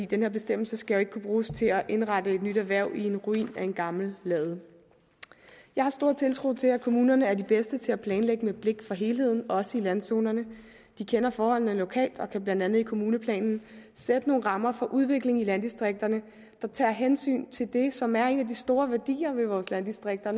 den her bestemmelse skal jo ikke kunne bruges til at indrette et nyt erhverv i en ruin af en gammel lade jeg har stor tiltro til at kommunerne er de bedste til at planlægge med blik for helheden også i landzonerne de kender forholdene lokalt og kan blandt andet i kommuneplanen sætte nogle rammer for udviklingen i landdistrikterne der tager hensyn til det som er en af de store værdier i vores landdistrikter og